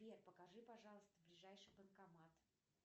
сбер покажи пожалуйста ближайший банкомат